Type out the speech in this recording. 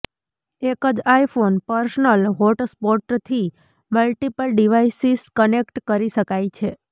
એક જ iPhone personal હોટસ્પોટથી મલ્ટીપલ ડીવાઇસીસ કનેક્ટ કરી શકાય છે